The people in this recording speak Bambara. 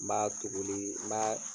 N b'a tuguli n b'a